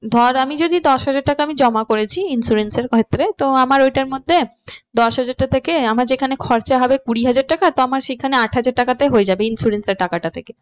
ধর আমি যদি দশ হাজার টাকা আমি জমা করেছি insurance এর ক্ষেত্রে তো আমার ওইটার মধ্যে দশ হাজারটা থেকে আমার যেইখানে খরচা হবে কুড়ি হাজার টাকা তো আমার আট হাজার টাকাতে হয়ে যাবে insurance এর টাকাটা থেকে।